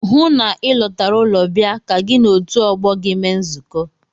Hụụ na Ị lọtara ụlọ bịa ka gị na otu ọgbọ gị mee nzukọ!